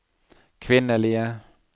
kvinnelige